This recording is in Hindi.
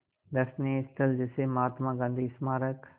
दर्शनीय स्थल जैसे महात्मा गांधी स्मारक